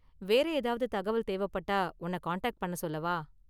வேற ஏதாவது தகவல் தேவைப்பட்டா உன்ன காண்டாக்ட் பண்ண சொல்லவா?